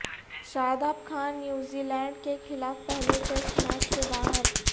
شاداب Khan New Zealand کے خلاف پہلے ٹیسٹ میچ سے باہر